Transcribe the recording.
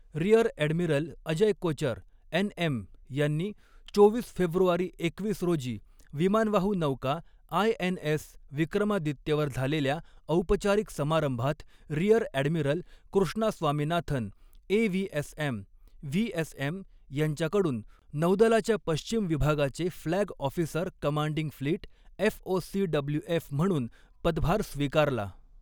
Rear admiral Ajay Kochar, NM यांनी चोवीस फेब्रुवारी एकवीस रोजी विमानवाहू नौका आयएनएस विक्रमादित्यवर झालेल्या औपचारिक समारंभात rear admiral Krishna Swaminathan, AVSM, VSM यांच्याकडून नौदलाच्या पश्चिम विभागाचे flag officer commanding fleet FOCWF म्हणून पदभार स्वीकारला.